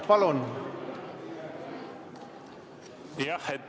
Palun!